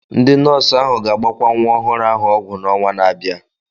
Ndị nọọsụ ahụ ga-agbakwa nwa ọhụrụ ahụ ọgwụ na ọnwa na-abịa